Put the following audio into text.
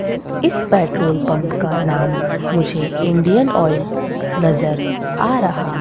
इस petrol pump का नाम मुझे इंडियन ऑइल नजर आ रहा--